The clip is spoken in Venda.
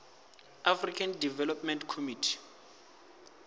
african development community